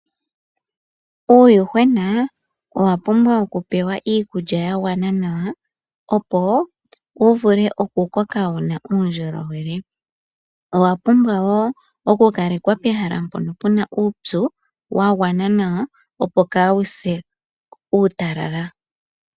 Uuyuhwena owa pumbwa oku pewa iikulya ya gwana nawa opo wu vule okukoka wuna uundjolowele owa pumbwa wo okukalekwa pehala mpono puna uupyu wa gwana nawa opo wu se uutalala.